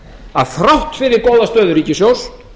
að þrátt fyrir góða stöðu ríkissjóðs